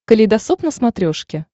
калейдосоп на смотрешке